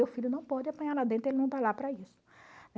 Meu filho não pode apanhar lá dentro, ele não está lá para isso.